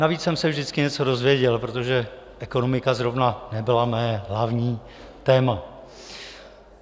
Navíc jsem se vždycky něco dozvěděl, protože ekonomika zrovna nebyla mé hlavní téma.